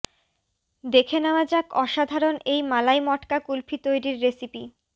দেখে নেওয়া যাক অসাধারণ এই মালাই মটকা কুলফি তৈরির রেসিপি